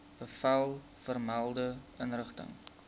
bevel vermelde inrigting